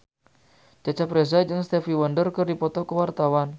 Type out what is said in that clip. Cecep Reza jeung Stevie Wonder keur dipoto ku wartawan